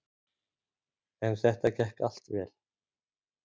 En þetta gekk allt vel.